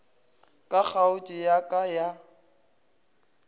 ka kgaotšo ya ka ya